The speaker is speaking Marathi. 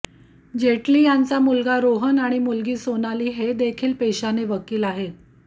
जेटली यांचा मुलगा रोहन आणि मुलगी सोनाली हेदेखील पेशाने वकील आहेत